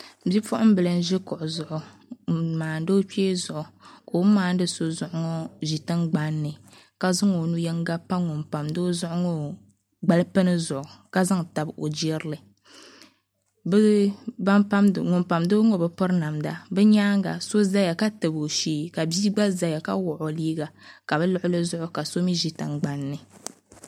Bipuɣunbili n ʒi kuɣu zuɣu n maandi o kpee zuɣu ka o ni maandi so zuɣu ŋo ʒi tingbanni ka zaŋ o nu yinga pa ŋun pamdi o zuɣu ŋo gbal pini yinga zuɣu ka zaŋ tabi o jirili ŋun pamdo ŋo bi piri namda bi nyaanga so ʒɛya ka tabi o shee ka bia gba ʒɛya ka wuɣi o liiga ka bi luɣuli zuɣu ka so mii ʒi tingbanni